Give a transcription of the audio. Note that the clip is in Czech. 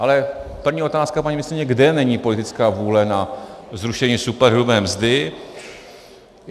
Ale první otázka, paní ministryně: kde není politická vůle na zrušení superhrubé mzdy?